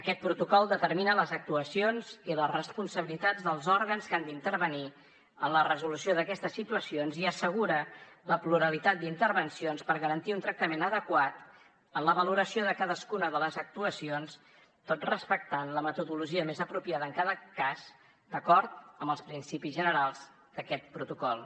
aquest protocol determina les actuacions i les responsabilitats dels òrgans que han d’intervenir en la resolució d’aquestes situacions i assegura la pluralitat d’intervencions per garantir un tractament adequat en la valoració de cadascuna de les actuacions tot respectant la metodologia més apropiada en cada cas d’acord amb els principis generals d’aquest protocol